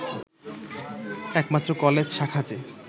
একমাত্র কলেজ শাখাযে